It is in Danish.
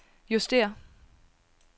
justér